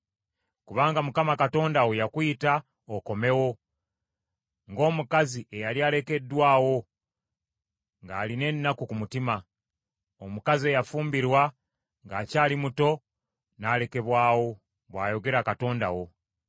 Kubanga Mukama Katonda yakuyita okomewo, ng’omukazi eyali alekeddwawo ng’alina ennaku ku mutima; omukazi eyafumbirwa ng’akyali muto, n’alekebwawo,” bw’ayogera Katonda wo.